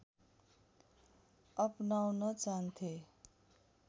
अपनाउन चाहन्थे